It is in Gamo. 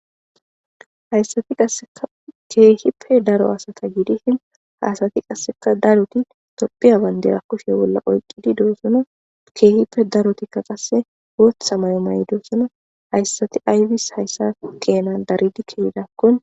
hayssati qaseka keehippe daro hasata giidishin haasati qasseka daruti topphiya bandera kushe bolla olqqidi do7osona keehippe darotikka qasse wootha may maydosona hayssati ayfis hayssa keenan daridi keehidakkon